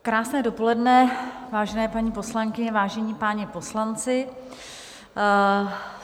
Krásné dopoledne, vážené paní poslankyně, vážení páni poslanci.